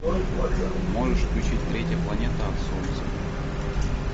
можешь включить третья планета от солнца